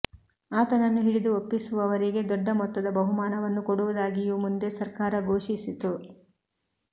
ಆತನನ್ನು ಹಿಡಿದು ಒಪ್ಪಿಸುವವರಿಗೆ ದೊಡ್ಡ ಮೊತ್ತದ ಬಹುಮಾನವನ್ನು ಕೊಡುವುದಾಗಿಯೂ ಮುಂದೆ ಸರ್ಕಾರ ಘೋಷಿಸಿತು